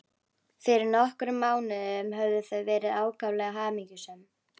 Fyrir nokkrum mánuðum höfðu þau verið ákaflega hamingjusöm.